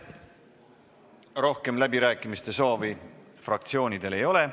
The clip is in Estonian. Rohkem läbirääkimiste soovi fraktsioonidel ei ole.